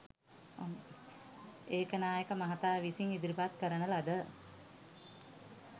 ඒකනායක මහතා විසින් ඉදිරිපත් කරන ලද